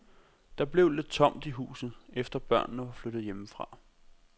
Der blev lidt tomt i huset, efter børnene var flyttet hjemmefra.